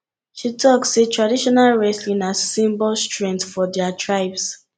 she tok sey traditional wrestling na symbol strength for her tribes